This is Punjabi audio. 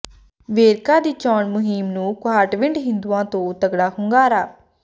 ਵੇਰਕਾ ਦੀ ਚੋਣ ਮੁਹਿੰਮ ਨੂੰ ਕੁਹਾਟਵਿੰਡ ਹਿੰਦੂਆਂ ਤੋ ਤੱਗੜਾ ਹੁੰਗਾਰਾ